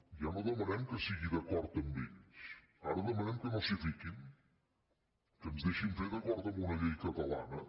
ja no demanem que sigui d’acord amb ells ara demanem que no s’hi fiquin que ens deixin fer d’acord amb una llei catalana